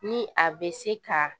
Ni a be se ka